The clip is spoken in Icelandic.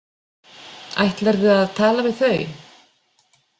Ætlarðu að tala við þau?